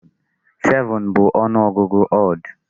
7 bụ ọnụ ọgụgụ odd.